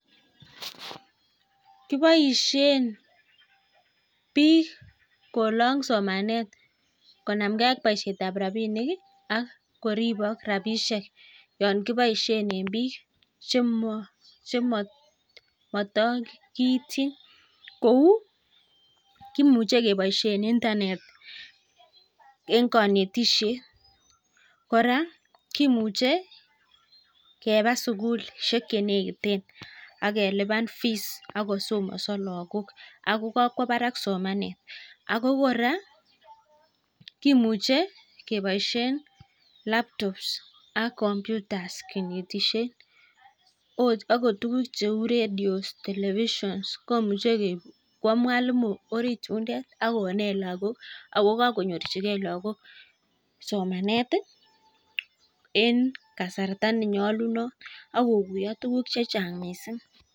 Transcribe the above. Kiboishen biik kolong somanet konamkee ak boishetab rapinik ak koribok rapishek Yoon kiboishen en biik chemotokityin kou imuche keboishen intanet en konetishet kora kimuche Keba sugulishek chenekiten akelipan fiiss akosomoso lagok Ako kakwobarak somanet Ako kora kimuche keboishen laptobs ak komputas kibetishen akot tuguk ratio telefision komuche kwo mwalimuit orit yundet akonet lagok akokonyorchikee lagok somaneti en kasarta nenyolunot akokuyo tuguk chechang mising